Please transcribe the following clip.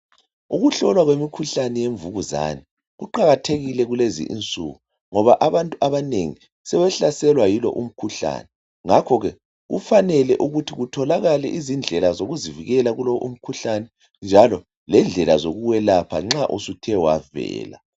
Ukuhlolwa kwemikhuhlane yemvukuzane, kuqakathekile kulezi insuku ngoba abantu abanengi, sebehlaselwa yilo umkhuhlane. Ngakhoke kufanele ukuthi kutholakale izindlela zokuzivikela kulo umkhuhlane njalo lendlela zokuwelapha nxa usuthe wavela.